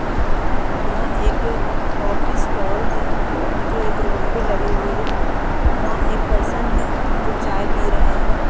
यहां एक coffee stall है जो एक रोड पे लगीं हुई है। वहां एक पर्सन है जो चाय पी रहे हैं।